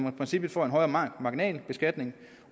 i princippet får en højere marginalbeskatning